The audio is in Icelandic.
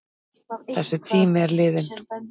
Þessi tími er liðinn.